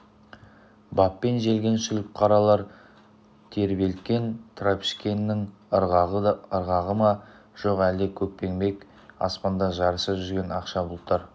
баппен желген сүлік қаралар тербелткен трашпеңкенін ырғағы ма жоқ әлде көкпеңбек аспанда жарыса жүзген ақша бұлттар